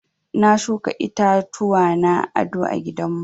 Na shuka itatuwa na aɗo a gidan mu.